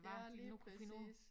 Ja lige præcis